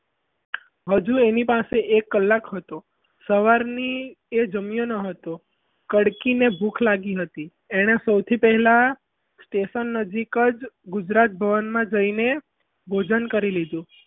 હજુ એની પાસે એક કલાક હતો સવારથી એ જમ્યું ન હતું કડકીને ભૂખ લાગી હતી એણે સૌથી પહેલા station નજીક જ ગુજરાત ભવનમાં જઈને ભોજન કરી લીધું.